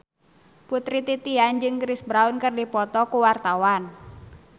Putri Titian jeung Chris Brown keur dipoto ku wartawan